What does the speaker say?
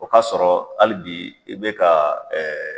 O k'a sɔrɔ hali bi i bɛ ka